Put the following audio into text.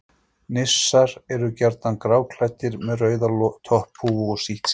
Nissar eru gjarnan gráklæddir með rauða topphúfu og sítt skegg.